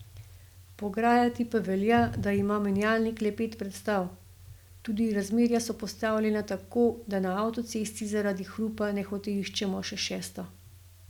Pograjati pa velja, da ima menjalnik le pet prestav, tudi razmerja so postavljena tako, da na avtocesti zaradi hrupa nehote iščemo še šesto.